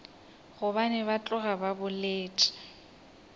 gobane ba tloga ba boletše